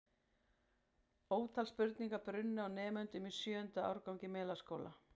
Ótal spurningar brunnu á nemendum í sjöunda árgangi Melaskóla.